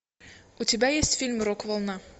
у тебя есть фильм рок волна